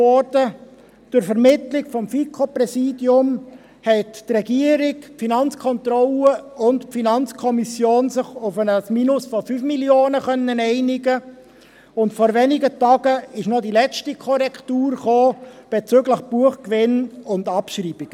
Durch Vermittlung des FiKo-Präsidiums haben sich die Regierung, die FK und die FiKo auf ein Minus von 5 Mio. Franken einigen können, und vor wenigen Tagen kamen noch die letzten Korrekturen bezüglich Buchgewinne und Abschreibungen.